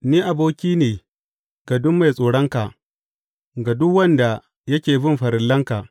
Ni aboki ne ga duk mai tsoronka, ga duk wanda yake bin farillanka.